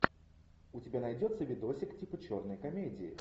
у тебя найдется видосик типа черной комедии